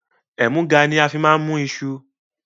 Ẹmuga ni a fi máa mú iṣu